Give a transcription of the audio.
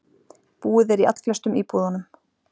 Búið er í allflestum íbúðunum